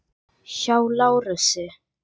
Hjá Lárusi.